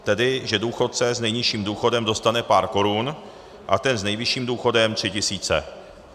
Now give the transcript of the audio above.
Tedy že důchodce s nejnižším důchodem dostane pár korun a ten s nejvyšším důchodem 3 tisíce.